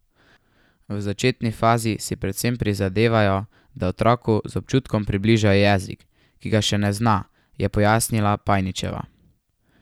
V začetni fazi si predvsem prizadevajo, da otroku z občutkom približajo jezik, ki ga še ne zna, je pojasnila Pajničeva.